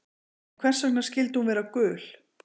En hvers vegna skyldi hún vera gul?